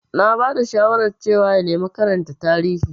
Na ba da shawarar cewa ya nemi karanta Tarihi.